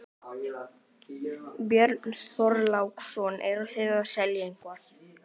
Björn Þorláksson: Eruð þið að selja eitthvað?